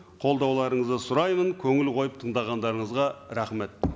қолдауларыңызды сұраймын көңіл қойып тыңдағандарыңызға рахмет